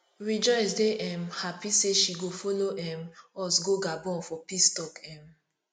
rejoice dey um happy say she go follow um us go gabon for peace talk um